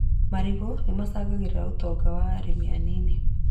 Marigũ nĩ macangagĩra ũtonga wa arĩmi anini